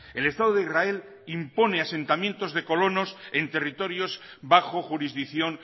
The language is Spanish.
el estado de israel impone asentamientos de colonos en territorios bajo jurisdicción